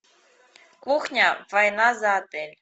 кухня война за отель